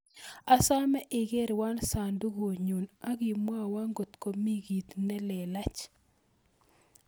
Asame igerwon sandugunyun akimwowon kot komi kit nelelach